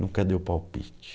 Nunca deu palpite.